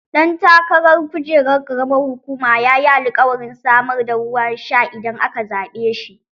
Ɗan takarar kujerar ƙaramar hukuma yayi alkawarin samar da ruwan sha idan aka zaɓe shi.